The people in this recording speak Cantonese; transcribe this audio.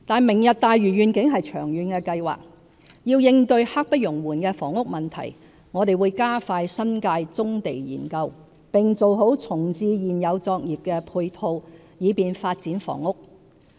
"明日大嶼願景"是長遠規劃，要應對刻不容緩的房屋問題，我們會加快新界棕地研究，並做好重置現有作業的配套，以便發展房屋。